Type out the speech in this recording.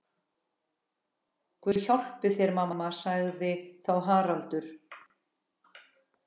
Guð hjálpi þér mamma, sagði þá Haraldur.